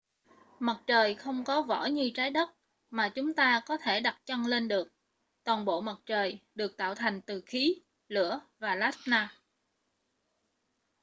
mặt trời không có vỏ như trái đất mà chúng ta có thể đặt chân lên được toàn bộ mặt trời được tạo thành từ khí lửa và plasma